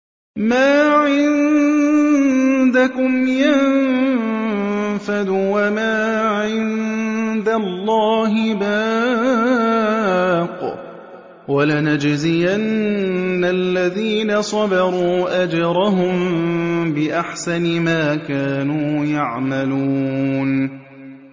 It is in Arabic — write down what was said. مَا عِندَكُمْ يَنفَدُ ۖ وَمَا عِندَ اللَّهِ بَاقٍ ۗ وَلَنَجْزِيَنَّ الَّذِينَ صَبَرُوا أَجْرَهُم بِأَحْسَنِ مَا كَانُوا يَعْمَلُونَ